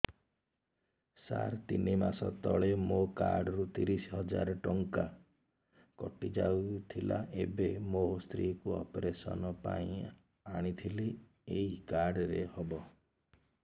ସାର ତିନି ମାସ ତଳେ ମୋ କାର୍ଡ ରୁ ତିରିଶ ହଜାର ଟଙ୍କା କଟିଯାଇଥିଲା ଏବେ ମୋ ସ୍ତ୍ରୀ କୁ ଅପେରସନ ପାଇଁ ଆଣିଥିଲି ଏଇ କାର୍ଡ ରେ ହବ